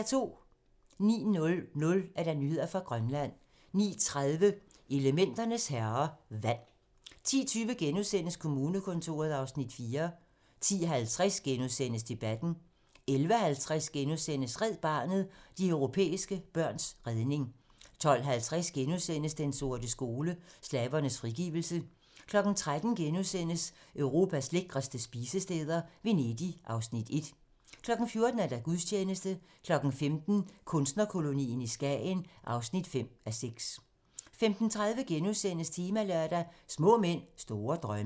09:00: Nyheder fra Grønland 09:30: Elementernes herrer - vand 10:20: Kommunekontoret (Afs. 4)* 10:50: Debatten * 11:50: Red Barnet - de europæiske børns redning * 12:50: Den sorte skole: Slavernes frigivelse * 13:00: Europas lækreste spisesteder - Venedig (Afs. 1)* 14:00: Gudstjeneste 15:00: Kunstnerkolonien i Skagen (5:6) 15:30: Temalørdag: Små mænd, store drømme *